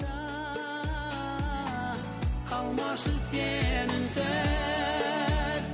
қалмашы сен үнсіз